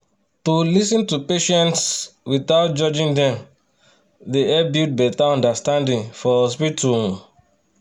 to lis ten to patients um without judging dem dey help build better understanding for hospital. um